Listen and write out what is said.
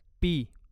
P